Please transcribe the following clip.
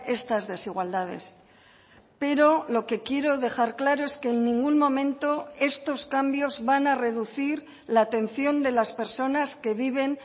estas desigualdades pero lo que quiero dejar claro es que en ningún momento estos cambios van a reducir la atención de las personas que viven